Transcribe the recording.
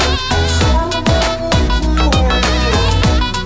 зор болып қалайық